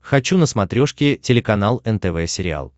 хочу на смотрешке телеканал нтв сериал